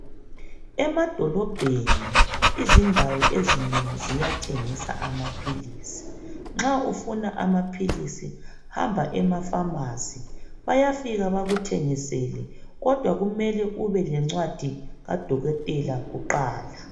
Emadolobheni izindawo ezinengi ziyathengisa amaphilisi. Nxa ufuna amaphilisi, hamba emafamasi bayafika bakuthengisele kodwa kumele ubelencwadi kudokotela kuqala.